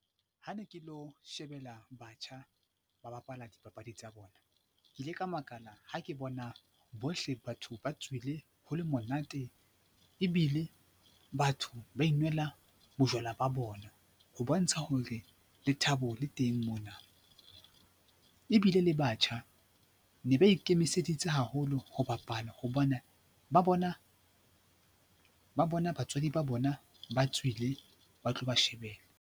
Ha ne ke lo shebella batjha ba bapala dipapadi tsa bona, ke ile ka makala ha ke bona bohle batho ba tswile, ho le monate ebile batho ba inwella bojwala ba bona ho bontsha hore lethabo le teng mona ebile le batjha ne ba ikemiseditse haholo ho bapala hobahe ba bona batswadi ba bona ba tswile ba tlo ba shebella.